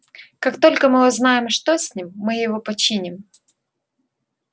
как только мы узнаем что с ним мы его починим